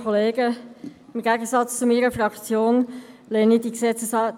Im Gegensatz zu meiner Fraktion lehne ich diese Gesetzesänderung ab.